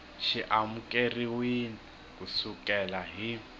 xi amukeriwile ku sukela hi